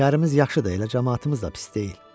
Şəhərimiz yaxşıdır, elə camaatımız da pis deyil.